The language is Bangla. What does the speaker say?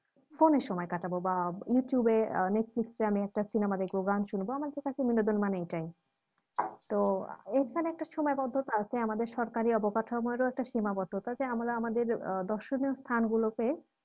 Phone এ সময় কাটাবো বা youtube এ নেটফ্লিক্স এ আমি একটা cinema দেখবো গান শুনবো আমাদের কাছে বিনোদন মানে এইটাই তো এইখানে একটা সুসীমাবদ্ধতা আছে আমাদের সরকারি অবকাঠামোর ও একটা সীমাবদ্ধতা যে আমরা আমাদের আহ দর্শনীয় স্থানগুলোকে